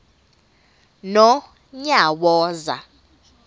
nonyawoza